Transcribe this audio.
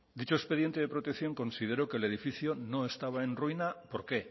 dicho expediente de protección consideró que el edificio no estaba en ruinas por qué